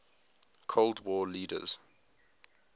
cold war leaders